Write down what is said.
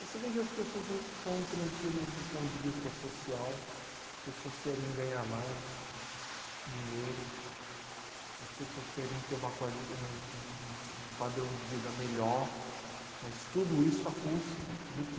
Você vê que as pessoas en estão intranquilas do ponto de vista social, as pessoas querem ganhar mais dinheiro, as pessoas querem ter uma quali, um padrão de vida melhor, mas tudo isso a custa do quê?